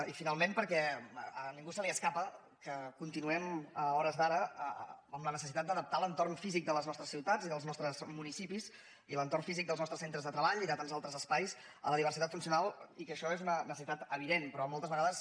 i finalment perquè a ningú se li escapa que continuem a hores d’ara amb la necessitat d’adaptar l’entorn físic de les nostres ciutats i dels nostres municipis i l’entorn físic dels nostres centres de treball i de tants altres espais a la diversitat funcional i que això és una necessitat evident però moltes vegades